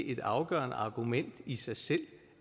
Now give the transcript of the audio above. et afgørende argument i sig selv